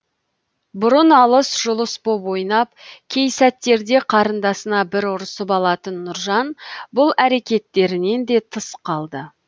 бұрын алыс жұлыс боп ойнап кей сәттерде қарындасына бір ұрсып алатын нұржан бұл әрекеттерінен де тыс қалды